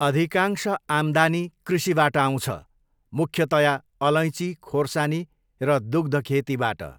अधिकांश आम्दानी कृषिबाट आउँछ, मुख्यतया अलैँची खोर्सानी र दुग्ध खेतीबाट।